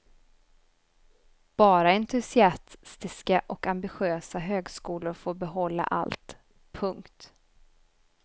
Bara entusiastiska och ambitiösa högskolor får behålla allt. punkt